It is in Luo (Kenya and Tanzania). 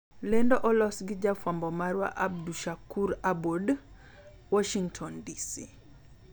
lendo olos gi jafwambo marwa Abdushakur Aboud, Washington, DC.